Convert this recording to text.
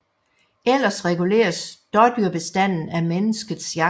Ellers reguleres dådyrbestanden af menneskets jagt